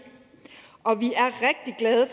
og vi